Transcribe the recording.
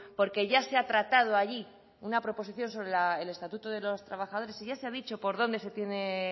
porque ya se ha tratado allí una proposición sobre el estatuto de los trabajadores y ya se ha dicho por dónde se tiene